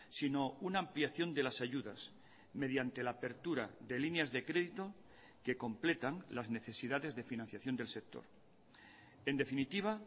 sino una ampliación de las ayudas mediante la apertura de líneas de crédito que completan las necesidades de financiación del sector en definitiva